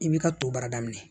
I b'i ka to baara daminɛ